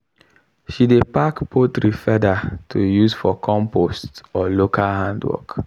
she dey pack poultry feather to use for compost or local handwork.